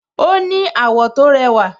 Ó ní àwọ̀ tó rẹwà